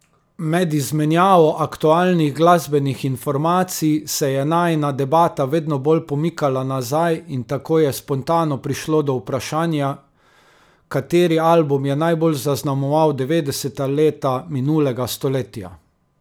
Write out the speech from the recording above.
Med izmenjavo aktualnih glasbenih informacij se je najina debata vedno bolj pomikala nazaj in tako je spontano prišlo do vprašanja, kateri album je najbolj zaznamoval devetdeseta leta minulega stoletja.